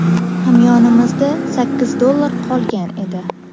Hamyonimda sakkiz dollar qolgan edi”.